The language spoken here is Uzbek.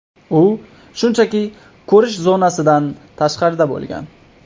U shunchaki ko‘rish zonasidan tashqarida bo‘lgan.